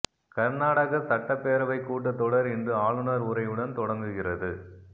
கா்நாடக சட்டப் பேரவைக் கூட்டத் தொடா் இன்று ஆளுநா் உரையுடன் தொடங்குகிறது